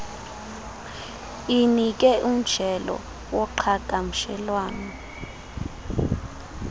inike umjelo woqhagamshelwano